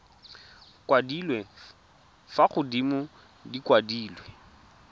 kwadilwe fa godimo di kwadilwe